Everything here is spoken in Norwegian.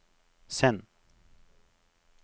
send